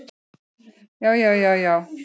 Já, já, já, já.